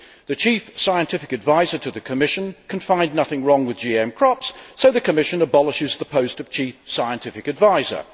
The Chief Scientific Advisor to the Commission can find nothing wrong with GM crops, so the Commission abolishes the post of Chief Scientific Advisor.